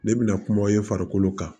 Ne bɛna kuma i farikolo kan